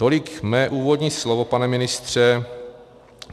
Tolik mé úvodní slovo, pane ministře.